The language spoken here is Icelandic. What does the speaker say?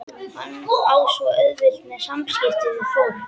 Hann á svo auðvelt með samskipti við fólk.